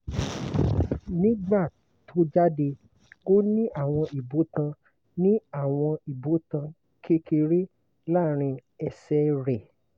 nígbà tó jáde ó ní àwọn ibotan ní àwọn ibotan kékeré láàrín ẹsẹ̀ rẹ̀